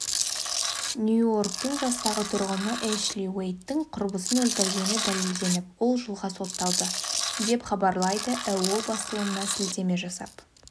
нью-йорктің жастағы тұрғыны эшли уэйдтің құрбысын өлтіргені дәлелденіп ол жылға сотталды деп хабарлайдыіо басылымына сілтеме жасап